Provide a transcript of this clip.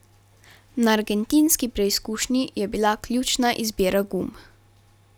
Na argentinski preizkušnji je bila ključna izbira gum.